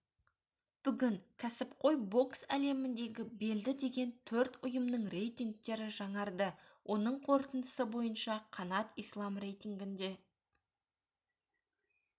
бүгін кәсіпқой бокс әлеміндегі белді деген төрт ұйымның рейтингтері жаңарды оның қорытындысы бойынша қанат ислам рейтингінде